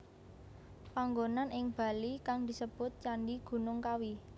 Panggonan ing Bali kang disebut Candhi Gunung Kawi